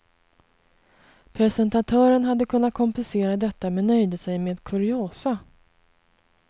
Presentatören hade kunnat kompensera detta men nöjde sig med kuriosa.